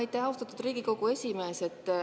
Aitäh, austatud Riigikogu esimees!